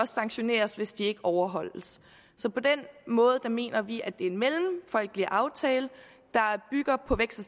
sanktioneres hvis de ikke overholdes på den måde mener vi at det er en mellemfolkelig aftale der bygger på vækst